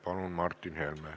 Palun, Martin Helme!